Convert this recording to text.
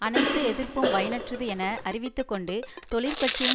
அனைத்து எதிர்ப்பும் பயனற்றது என அறிவித்து கொண்டு தொழிற் கட்சியும்